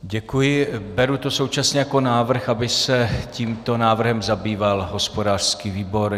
Děkuji, beru to současně jako návrh, aby se tímto návrhem zabýval hospodářský výbor.